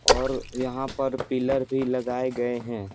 औरयहाँ पर पिलर भी लगाए गए हैं।